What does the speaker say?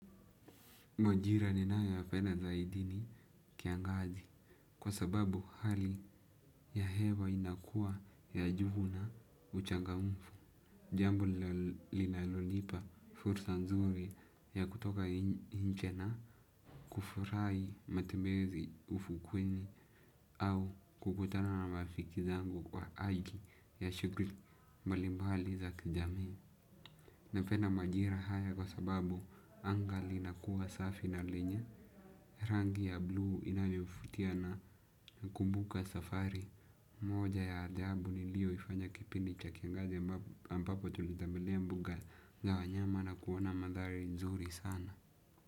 Majira ninayoyapenda zaidi ni kiangazi kwa sababu hali ya hewa inakua ya juhu na uchangamfu. Jambu linalonipa fursa nzuri ya kutoka inche na kufurai matembezi ufukweni au kukutana na mafiki zangu kwa aiki ya shukri mbalimbali za kijami. Napensa majira haya kwa sababu anga linakuwa safi na lenye rangi ya blue inavyofutia nakumbuka safari moja ya ajabu nilioifanya kipindi cha kiangazi ambapo tulitembelea mbuga na wanyama na kuona madhari nzuri sana.